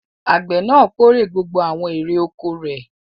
Àgbẹ̀ náà kórè gbogbo àwọn èrè-oko rẹ̀.